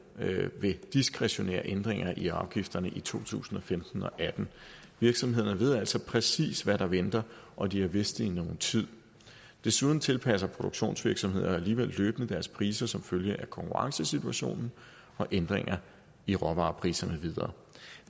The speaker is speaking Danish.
ved diskretionære ændringer i afgifterne i to tusind og femten og atten virksomhederne ved altså præcis hvad der venter og de har vidst det i nogen tid desuden tilpasser produktionsvirksomhederne alligevel løbende deres priser som følge af konkurrencesituationen og ændringer i råvarepriserne med videre